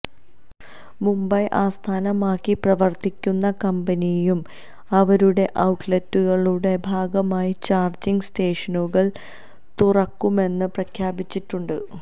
മുംബൈ ആസ്ഥാനമാക്കി പ്രവര്ത്തിക്കുന്ന കമ്പനിയും അവരുടെ ഔട്ട്ലെറ്റുകളുടെ ഭാഗമായി ചാര്ജിങ് സ്റ്റേഷനുകള് തുറക്കുമെന്ന് പ്രഖ്യാപിച്ചിട്ടുണ്ട്